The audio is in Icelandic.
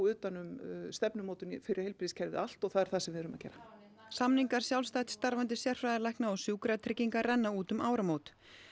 utan um stefnumótun fyrir heilbrigðiskerfið allt og það er það sem við erum að gera samningar sjálfstætt starfandi sérfræðilækna og Sjúkratrygginga renna út um áramót